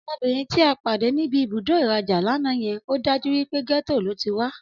Ọmọbìnrin ti a pàdé ní ibùdó ìrajà lana yen, ọ́dájú wípé gẹ́tò lo tí wá